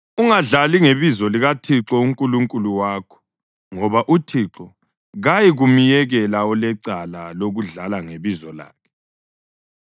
Ungadlali ngebizo likaThixo uNkulunkulu wakho ngoba uThixo kayikumyekela olecala lokudlala ngebizo lakhe.